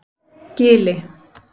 Gili